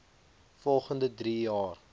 volgende drie jaar